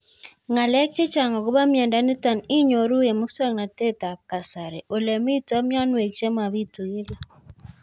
Ng'alek chechang' akopo miondo nitok inyoru eng' muswog'natet ab kasari ole mito mianwek che mapitu kila